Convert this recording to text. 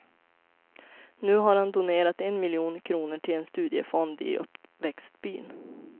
Nu har han donerat en miljon kronor till en studiefond i uppväxtsbyn.